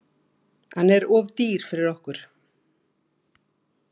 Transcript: Hann er of dýr fyrir okkur.